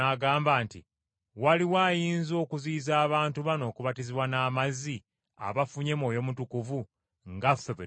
“Waliwo ayinza okuziyiza abantu bano okubatizibwa n’amazzi abafunye Mwoyo Mutukuvu nga ffe bwe twamufuna?”